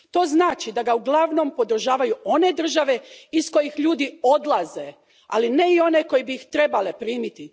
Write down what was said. To znači da ga uglavnom podržavaju one države iz kojih ljudi odlaze, ali ne i one koje bi ih trebale primiti.